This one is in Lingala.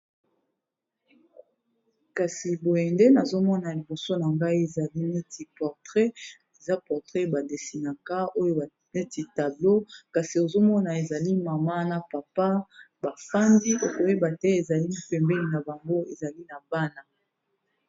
Kasi boye nde nazomona liboso na ngai ezali neti portrait eza portrait ba desinaka oyo neti tablo kasi ozomona ezali mama na papa bafandi okoyeba te ezali pembeni na bango ezali na bana.